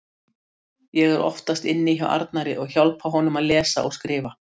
Ég er oftast inni hjá Arnari og hjálpa honum að lesa og skrifa.